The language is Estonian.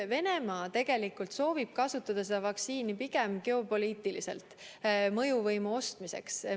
Venemaa soovib tegelikult kasutada seda vaktsiini pigem geopoliitiliselt mõjuvõimu ostmiseks.